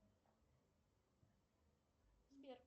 сбер